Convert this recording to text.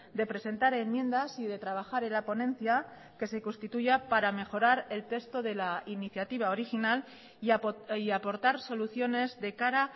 de presentar enmiendas y de trabajar en la ponencia que se constituya para mejorar el texto de la iniciativa original y aportar soluciones de cara